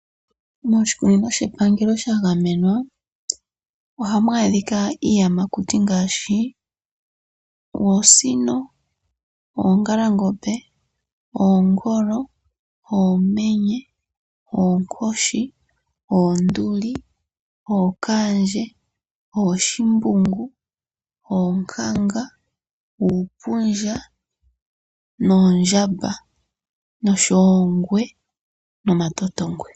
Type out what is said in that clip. Moshikunino shepangelo sha gamenwa ohamu adhika iiyamakuti ngaashi oosino, oongalangombe, oonkoshi, oonduli, ookandje, oongwe nomatotongwe.